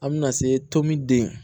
An bɛna se tomden